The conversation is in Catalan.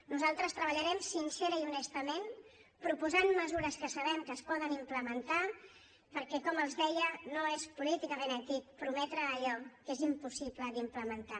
nosaltres treballarem sincerament i honestament proposant mesures que sabem que es poden implementar perquè com els deia no és políticament ètic prometre allò que és impossible d’implementar